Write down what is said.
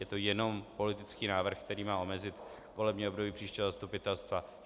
Je to jenom politický návrh, který má omezit volební období příštího zastupitelstva.